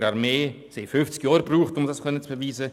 Sie brauchten fünfzig Jahre, um das zu beweisen.